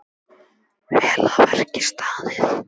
Vel að verki staðið!